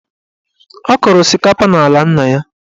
Ọ kọrọ osikapa n'ala nna ya.